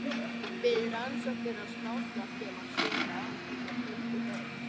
Við rannsóknir á smáskjálftum á sjöunda áratugnum fundu þeir